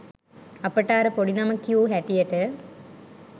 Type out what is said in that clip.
අපට අර පොඩි නම කියූ හැටියට